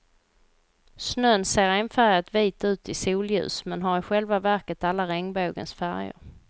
Snön ser enfärgat vit ut i solljus men har i själva verket alla regnbågens färger.